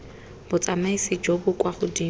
botsamaisi jo bo kwa godimo